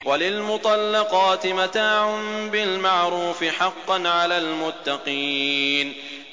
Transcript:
وَلِلْمُطَلَّقَاتِ مَتَاعٌ بِالْمَعْرُوفِ ۖ حَقًّا عَلَى الْمُتَّقِينَ